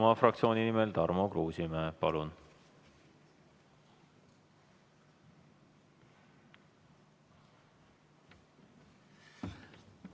Isamaa fraktsiooni nimel Tarmo Kruusimäe, palun!